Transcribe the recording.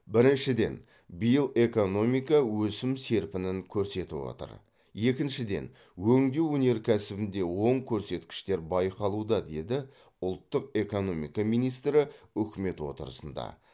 біріншіден биыл экономика өсім серпінін көрсетіп отыр екіншіден өңдеу өнеркәсібінде оң көрсеткіштер байқалуда деді ұлттық экономика министрі үкімет отырысында